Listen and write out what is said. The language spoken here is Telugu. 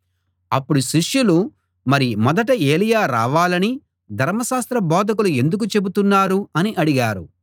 అప్పుడు శిష్యులు మరి మొదట ఏలీయా రావాలని ధర్మశాస్త్ర బోధకులు ఎందుకు చెబుతున్నారు అని అడిగారు